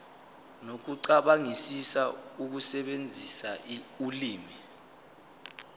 nokucabangisisa ukusebenzisa ulimi